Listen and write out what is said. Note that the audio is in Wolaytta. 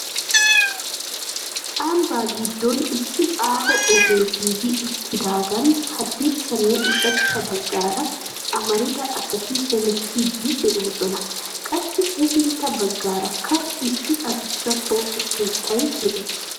Ambba giddon issi aaho ogee giigi uttidaagan haddirssanne ushachcha baggaara amarida asati hemettiidi de'oosona. Qassi hefintta baggaarakka issi addussa pooqe keettay de'ees.